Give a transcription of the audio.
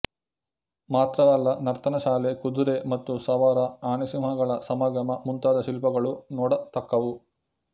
ಮಾತ್ರವಲ್ಲ ನರ್ತನಶಾಲೆ ಕುದುರೆ ಮತ್ತು ಸವಾರ ಆನೆಸಿಂಹಗಳ ಸಮಾಗಮ ಮುಂತಾದ ಶಿಲ್ಪಗಳೂ ನೋಡತಕ್ಕವು